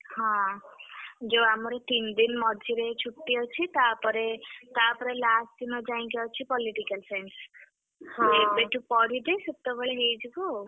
ହଁ ଯୋଉ ଆମର ତିନି ଦିନ୍ ମଝିରେ ଛୁଟି ଅଛି ତାପରେ ତାପରେ last ଦିନ ଯାଇକି ଅଛି Political Science ଏବେଠୁ ପଢିଲେ ସେତବେଳେ ହେଇଯିବ ଆଉ।